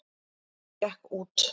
Gekk út.